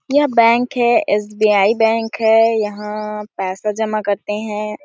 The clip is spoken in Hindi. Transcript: यह बैंक है एस. बी. आई. बैंक है यहाँ पैसा जमा करते है।